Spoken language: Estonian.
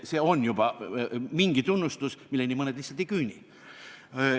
See on tunnustus, milleni mõned lihtsalt ei küüni.